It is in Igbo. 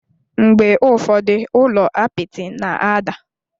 Mgbe ụfọdụ, ụlọ apịtị na-ada.